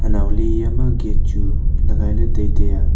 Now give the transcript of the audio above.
nawle iyama gate chu lagailey taitai ya.